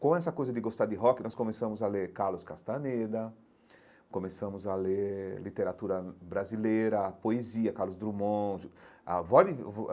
Com essa coisa de gostar de rock, nós começamos a ler Carlos Castaneda, começamos a ler literatura brasileira, a poesia, Carlos Drummond.